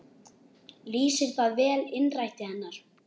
Lýsir það vel innræti hennar.